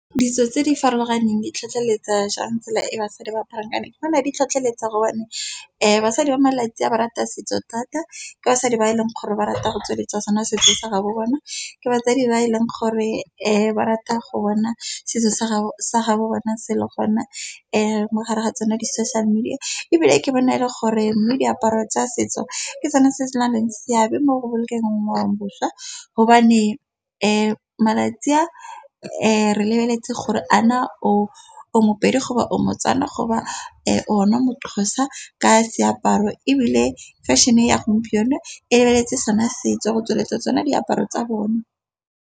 Ditso tse di farologaneng di tlhotlheletsa jang tsela e basadi ba aparang ka yone, go nale di tlhotlheletsa gobane basadi ba malatsi a ba rata setso thata, ke basadi ba e leng gore ba rata go tsweletsa sona setso sa ga bo bona, ke batsadi ba e leng gore ba rata go bona setso sa ga bo bona sele gona mogare ga tsona di-social-media. Ebile ke bona e le gore mme diaparo tsa setso ke sona se se na leng seabe mo go bolokeng ngwaoboswa, gobane malatsi a re lebeletse gore a na o mopedi goba o motswana, goba ona moxhosa ka seaparo ebile fashion-e ya gompieno e lebeletse sona setso go tsweletsa tsone diaparo tsa bone.